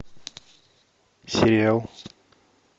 сериал